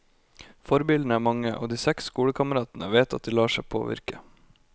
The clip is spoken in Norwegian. Forbildene er mange, og de seks skolekameratene vet at de lar seg påvirke.